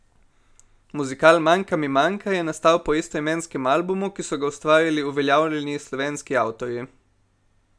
Muzikal Manjka mi manjka je nastal po istoimenskem albumu, ki so ga ustvarili uveljavljeni slovenski avtorji.